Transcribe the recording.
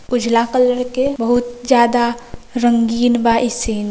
उजला कलर के बहुत ज्यादा रंगीन बा ई सीन |